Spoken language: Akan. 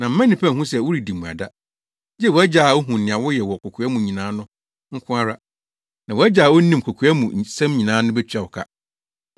na mma nnipa nhu sɛ woredi mmuada, gye wʼAgya a ohu nea woyɛ wɔ kokoa mu nyinaa no nko ara; na wʼAgya a onim kokoa mu nsɛm nyinaa no betua wo ka.